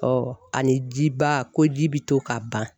Ɔ ani jiba ko ji bɛ to ka ban